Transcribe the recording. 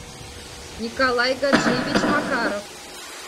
николай гаджиевич макаров